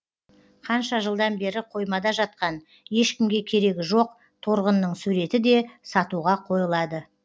қанша жылдан бері қоймада жатқан ешкімге керегі жоқ торғынның суреті де сатуға қойылады